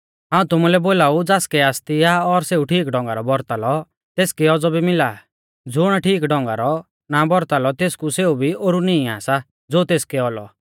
हाऊं तुमुलै बोलाऊ ज़ासकै आसती आ और सेऊ ठीक ढौंगारौ बौरता लौ तेसकै औज़ौ मिला ज़ुण ठीक ढौंगारौ ना बौरता लौ तेसकु सेऊ भी ओरु निंईआ सा ज़ो तेसकै औलौ